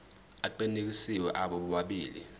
aqinisekisiwe abo bobabili